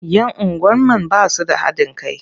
Yan unguwar man ba su da haɗin kai.